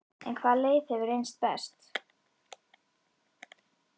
En hvaða leið hefur reynst best?